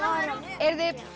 eruð þið